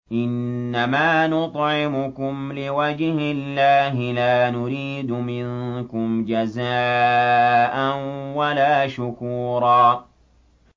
إِنَّمَا نُطْعِمُكُمْ لِوَجْهِ اللَّهِ لَا نُرِيدُ مِنكُمْ جَزَاءً وَلَا شُكُورًا